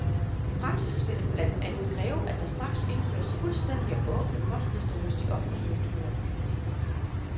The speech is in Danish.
I praksis vil det blandt andet kræve, at der straks indføres fuldstændige og åbne postlister hos de offentlige myndigheder.